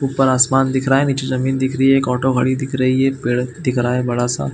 ऊपर आसमान दिख रहा है नीचे जमीन दिख रही है एक ऑटो खड़ी दिख रही है एक पेड़ दिख रहा है बड़ा सा--